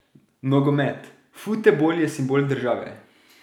Nogomet: 'Futebol je simbol države.